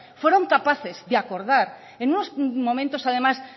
fueron capaces de acordar en unos momentos además